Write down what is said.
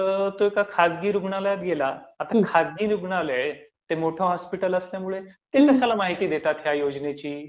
मग तो एका खाजगी रुग्णालयात गेला, आता खाजगी रुग्णालय, ते मोठं हॉस्पिटल असल्यामुळे, ते कशाला माहिती देतात ह्या योजनेची?